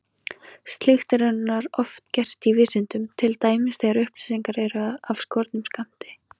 Slíkt er raunar oft gert í vísindum, til dæmis þegar upplýsingar eru af skornum skammti.